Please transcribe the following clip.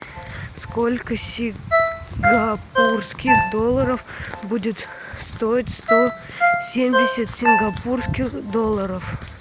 сколько сингапурских долларов будет стоить сто семьдесят сингапурских долларов